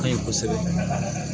An ye kosɛbɛ